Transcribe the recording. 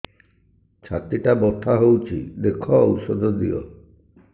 ଛାତି ଟା ବଥା ହଉଚି ଦେଖ ଔଷଧ ଦିଅ